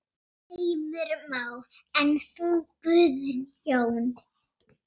Heimir Már: En þú Guðjón?